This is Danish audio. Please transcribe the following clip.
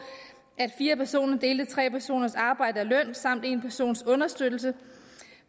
at fire personer delte tre personers arbejde og løn samt en persons understøttelse